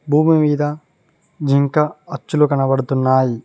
భూమి మీద జింకా అచ్చులు కనపడుతున్నాయి.